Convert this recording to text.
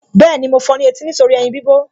Bẹ́ẹ̀ni, mo fọ ní etí nítorí ẹyin bíbọ̀